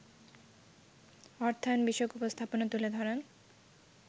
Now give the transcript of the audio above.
অর্থায়ন বিষয়ক উপস্থাপনা তুলে ধরেন